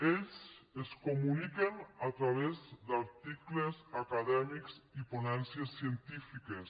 ells es comuniquen a través d’articles acadèmics i ponències científiques